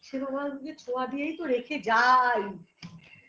সেবা মাধুর্যের ছোঁয়া দিয়েই তো রেখে যাই